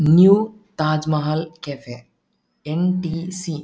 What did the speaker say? New Taj Mahal cafe NTC. .